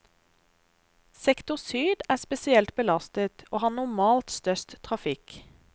Sektor syd er spesielt belastet, og har normalt størst trafikk.